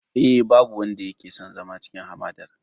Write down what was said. Eh, ba wanda yake son zama a cikin hamadar.